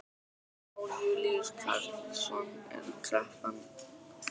Jón Júlíus Karlsson: Er kreppan búin?